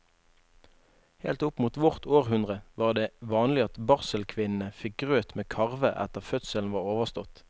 Helt opp mot vårt århundre var det vanlig at barselkvinnene fikk grøt med karve etter at fødselen var overstått.